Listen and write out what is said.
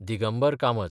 Digambar Kamat